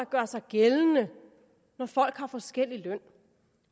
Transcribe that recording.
gør sig gældende når folk har forskellig løn